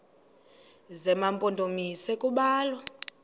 zema mpondomise kubalwa